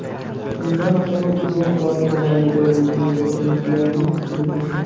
Shundan so‘ng uzoq vaqt mobaynida insonga to‘yinganlik hisini beradi.